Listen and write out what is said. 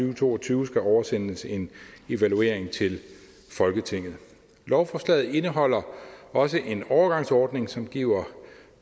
og to og tyve skal oversendes en evaluering til folketinget lovforslaget indeholder også en overgangsordning som giver